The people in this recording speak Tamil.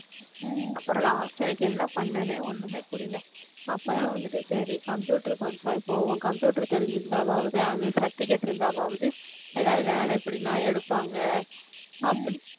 அப்புறம் last எனக்கு என்ன பண்ணனே ஒண்ணுமே புரியல அப்ப தான் வந்துட்டு சரி computer course ஆவது போவோம் computer தெரிஞ்சிருந்தாவாவது அது certificate இருந்தாவாவது ஏதாவது வேலை எப்படினா எடுப்பாங்க